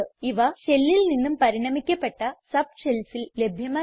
ഇവ shellൽ നിന്നും പരിണമിക്കപ്പെട്ട subshellsൽ ലഭ്യമല്ല